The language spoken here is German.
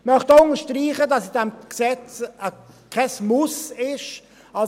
Ich möchte auch unterstreichen, dass in diesem Gesetz kein Muss enthalten ist;